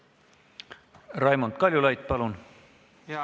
Raimond Kaljulaid, palun!